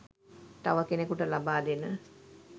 තව කෙනෙකුට ලබා දෙන